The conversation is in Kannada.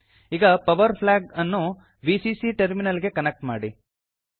ಈಗ ಪವರ್ ಫ್ಲ್ಯಾಗ್ ಅನ್ನು ವಿಸಿಸಿ ಟರ್ಮಿನಲ್ ಗೆ ಕನೆಕ್ಟ್ ಮಾಡಿ